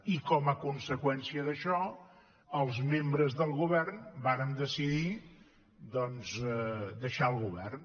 i com a conseqüència d’això els membres del govern varen decidir doncs deixar el govern